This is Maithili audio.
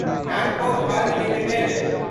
Natco firm limited